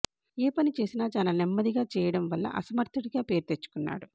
ఏ పని చేసినా చాలా నెమ్మదిగా చేస్తుండటం వల్ల అసమర్థుడిగా పేరు తెచ్చుకున్నాడు